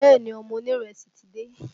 Bẹ́ẹ̀ ni, ọmọ onírẹsì ti dé